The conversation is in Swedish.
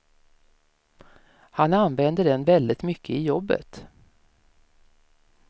Han använde den väldigt mycket i jobbet.